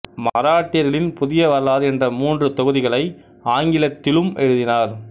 மராட்டியர்களின் புதிய வரலாறு என்ற மூன்று தொகுதிகளை ஆங்கிலத்திலும் எழுதினார்